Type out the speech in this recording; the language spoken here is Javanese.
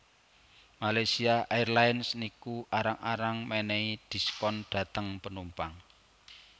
Malaysia Airlines niku arang arang menehi diskon dhateng penumpang